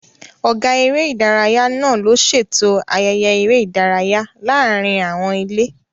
Ọ̀gá eré ìdárayá náà ló ṣètò ayẹyẹ eré ìdárayá láàárín àwọn ilé